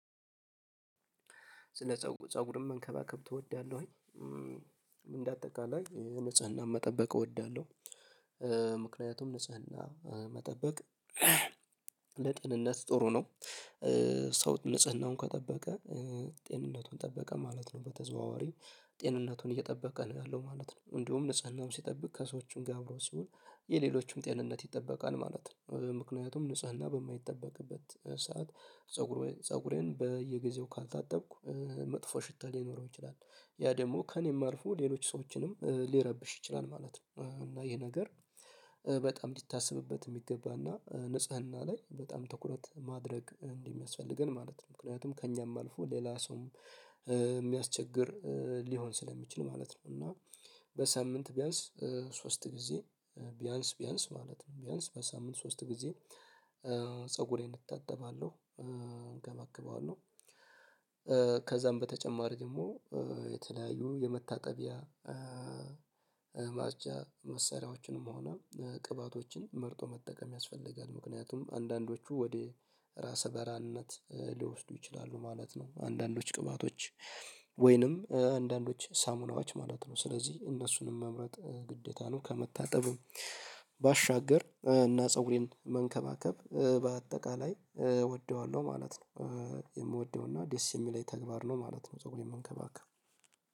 ስለ ፀጉርን መንከባከብ ትወዳለህ? ወይ እንደ አጠቃላይ ንፀናም መጠበቅ እወዳለሁ። ምክንያቱም ንጽህና መጠበቅ ለጤንነት ጥሩ ነው። ሰው ንጽህናውን ከጠበቀ ጤንነቱን ጠበቀ ማለት ነው በተዘዋዋሪ ጤንነቱን እየጠበቀ ነው ያለው ማለት ነው። እንዲሁም ንጽህናውን ሲጠብቅ ከሰዎችም ጋር አብሮት ሲሆን የሌሎችም ጤንነት ይጠበቃል ማለት ነው። ምክንያቱም ንጽህና በማይጠበቅበት ሰዓት ፀጉሬን በየጊዜው ካልታጠብኩ መጥፎ ሽታ ሊኖረው ይችላል ያ ደግሞ ከእኔም አልፎ ሌሎች ሰዎችንም ሊረብሽ ይችላል ማለት ነው። እና ይሄ ነገር በጣም ሊታሰብበት የሚገባ እና ንጽህና ላይ በጣም ትኩረት ማድረግ እንደ ሚያስፈልገን ማለት ነው። ምክንያቱም ከእኛም አልፎ ሌላ ሰውም የሚያስቸግር ሊሆን ስለሚችል ማለት ነው። እና በሳምንት ቢያንስ ሶስት ጊዜ ቢያንስ ቢያንስ ማለት ነው ቢያንስ በሳምንት ሶስት ጊዜ ፀጉሬን እታጠባለሁ እንከባከበዋለሁ። በተጨማሪ ደግሞ የተለያዩ የመታጠቢያ መሳሪያዎችንም ሆነ ቅባቶችን መርጦ መጠቀም ያስፈልጋል ምክንያቱም አንዳንዶቹ ወደ ራሰ በራነት ሊወስዱ ይችላሉ ማለት ነው። አንዳንዶች ቅባቶች ወይንም አንዳንዶች ሳሙናዎች ማለት ነው ስለዚህ እነሱንም መምረጥ ግዴታ ነው። ከመታጠብም ባሻገር እና ፀጉሬን መንከባከብ በአጠቃላይ እወደዋለሁ ማለት ነው። የምወደው እና ዴስ የሚለይ ተግባር ነው ማለት ነው። ፀጉሬ መንከባከብ